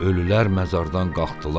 Ölülər məzardan qalxdılar.